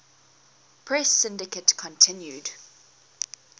press syndicate continued